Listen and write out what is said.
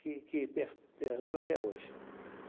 que que per perdura até hoje.